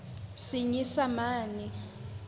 senyesemane